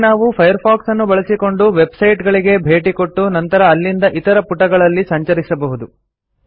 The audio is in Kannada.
ಹೀಗೆ ನಾವು ಫೈರ್ಫಾಕ್ಸ್ ಅನ್ನು ಬಳಸಿಕೊಂಡು ವೆಬ್ಸೈಟ್ಗಳಿಗೆ ಭೇಟಿಕೊಟ್ಟು ನಂತರ ಅಲ್ಲಿಂದ ಇತರ ಪುಟಗಳಲ್ಲಿ ಸಂಚರಿಸಿಬಹುದು